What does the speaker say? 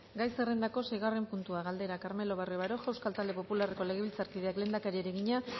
gai zerrendako seigarren puntua galdera carmelo barrio baroja euskal talde popularreko legebiltzarkideak lehendakariari egina